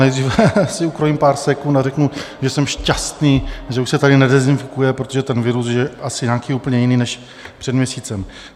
Nejdřív si ukrojím pár sekund a řeknu, že jsem šťastný, že už se tady nedezinfikuje, protože ten virus je asi nějaký úplně jiný než před měsícem.